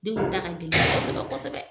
Denw ta ka gɛlɛn kosɛbɛ-kosɛbɛ.